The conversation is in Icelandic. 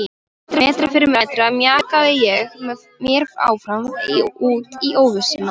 Metra fyrir metra mjakaði ég mér áfram út í óvissuna.